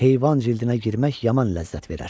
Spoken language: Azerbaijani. Heyvan cildinə girmək yaman ləzzət verər.